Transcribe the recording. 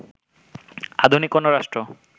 আধুনিক কোনো রাষ্ট্র